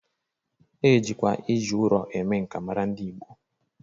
E jikwa iji ụrọ eme nka mara ndị Igbo.